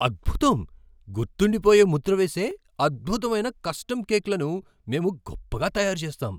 అద్భుతం! గుర్తుండిపోయే ముద్ర వేసే అద్భుతమైన కస్టమ్ కేక్లను మేము గొప్పగా తయారుచేస్తాం.